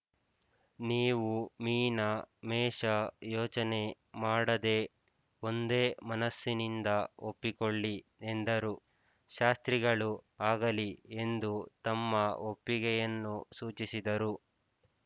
ನೀವು ಮೀನ ಮೇಷ ಯೋಚನೆ ಮಾಡದೆ ಒಂದೇ ಮನಸ್ಸಿನಿಂದ ಒಪ್ಪಿಕೊಳ್ಳಿ ಎಂದರು ಶಾಸ್ತ್ರಿಗಳು ಆಗಲಿ ಎಂದು ತಮ್ಮ ಒಪ್ಪಿಗೆಯನ್ನು ಸೂಚಿಸಿದರು